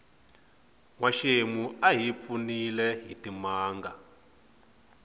nwaxemu a hi pfunile hitimanga